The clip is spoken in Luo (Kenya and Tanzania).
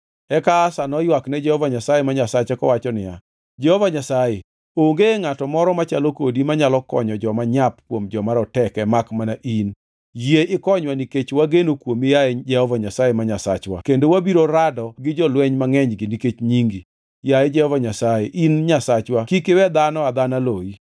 Eka Asa noywak ne Jehova Nyasaye ma Nyasache kowacho niya, “Jehova Nyasaye, onge ngʼato moro machalo kodi manyalo konyo joma nyap kuom joma roteke makmana in. Yie ikonywa nikech wageno kuomi yaye Jehova Nyasaye ma Nyasachwa kendo wabiro rado gi jolweny mangʼenygi nikech Nyingi. Yaye Jehova Nyasaye in Nyasachwa kik iwe dhano adhana loyi.”